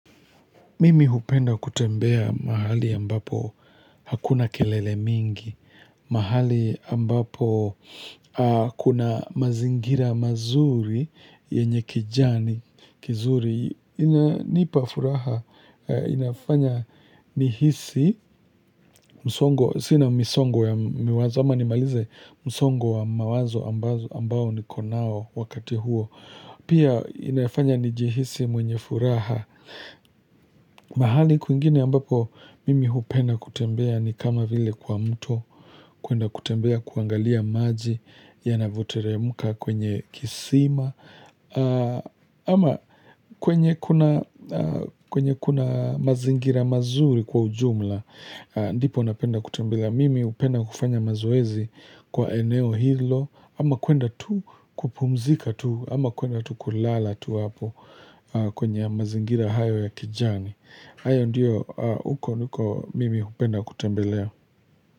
Mimi hupenda kutembea mahali ambapo hakuna kelele mingi, mahali ambapo kuna mazingira mazuri yenye kijani, kizuri, ininipa furaha, inafanya ni hisi, msongo, sina misongo ya miwazo, ama ni malize, msongo wa mawazo ambao nikonao wakati huo. Pia inafanya nijihisi mwenye furaha mahali kwingine ambapo mimi hupenda kutembea ni kama vile kwa mtu kuenda kutembea kuangalia maji yanavyoteremka kwenye kisima ama kwenye kuna mazingira mazuri kwa ujumla ndipo napenda kutembea mimi hupenda kufanya mazoezi kwa eneo hilo ama kuenda tu kupumzika tu ama kuenda tu kulala tu hapo kwenye mazingira hayo ya kijani hayo ndio huko huko mimi hupenda kutembelea.